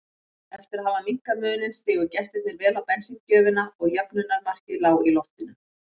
Eftir að hafa minnkað muninn stigu gestirnir vel á bensíngjöfina og jöfnunarmarkið lá í loftinu.